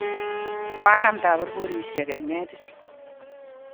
koanam taburburisiek eng' netit